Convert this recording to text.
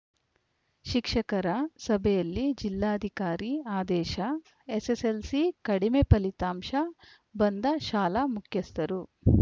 ಶಿಕ್ಷಕರ ಸಭೆಯಲ್ಲಿ ಜಿಲ್ಲಾಧಿಕಾರಿ ಆದೇಶ ಎಸ್ಸೆಸ್ಸೆಲ್ಸಿ ಕಡಿಮೆ ಫಲಿತಾಂಶ ಬಂದ ಶಾಲಾ ಮುಖ್ಯಸ್ಥರು